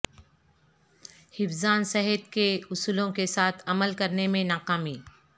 حفظان صحت کے اصولوں کے ساتھ عمل کرنے میں ناکامی